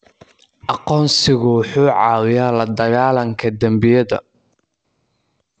Aqoonsigu wuxuu caawiyaa la dagaallanka dembiyada.